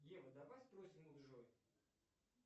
ева давай спросим у джой